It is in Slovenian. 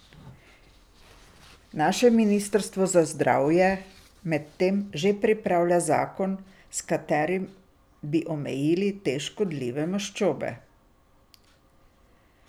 Naše ministrstvo za zdravje medtem že pripravlja zakon s katerim bi omejili te škodljive maščobe.